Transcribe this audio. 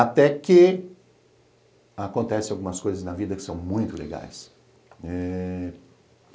Até que, acontecem algumas coisas na vida que são muito legais. Eh